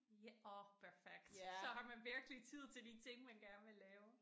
Ja orh perfekt så har man virkelig tid til de ting man gerne vil lave